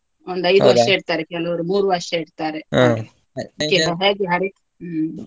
ಇಡ್ತಾರೆ ಕೆಲವರು ಮೂರು ವರ್ಷ ಇಡ್ತಾರೆ ಹ್ಮ್.